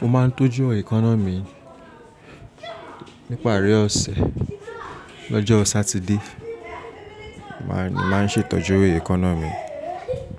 Mo máa ń tọ́jú èkọ́nọ́ mi níparí ọ̀sẹ̀ lọ́jọ́ Sátidé. Máa ń ṣètọ́jú èkọ́nọ́ mi,